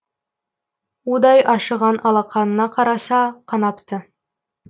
удай ашыған алақанына қараса қанапты